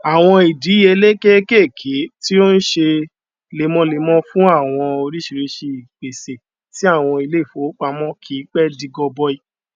àwọn ìdíyelé kékèké tí ó n ṣe lemọlemọ fún àwọn oríṣiríṣi ìpèsè ti àwọn ilé ìfowópamọ kìí pẹ di gọbọi